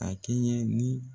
A kɛɲɛ ni